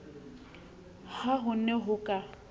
ha ho ne ho ka